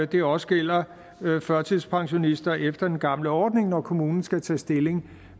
det også gælder førtidspensionister efter den gamle ordning når kommunen skal tage stilling